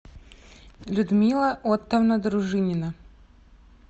людмила оттовна дружинина